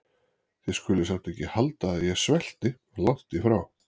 Þið skuluð samt ekki halda að ég svelti- langt því frá.